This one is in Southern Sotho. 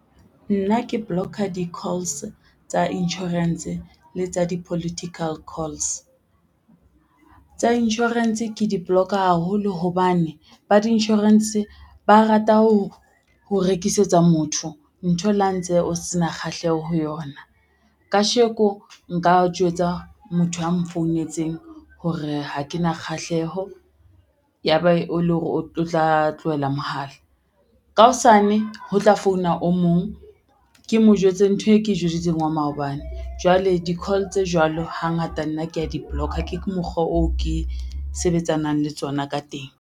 Nna ke block-a di-calls tsa insurance le tsa di-political calls. Tsa insurance ke di-block haholo hobane ba di-insurance ba rata ho rekisetsa motho ntho le ha ntse o se na kgahleho ho yona. Kasheko nka jwetsa motho a mfounetseng hore ha ke na kgahleho ya ba e le hore o tla tlohela mohala, ka hosane ho tla founa o mong ke mo jwetse ntho e ke jwetsitseng wa maobane, jwale di-call tse jwalo, hangata nna kea di-block-a ke mokgwa oo ke sebetsanang le tsona ka teng.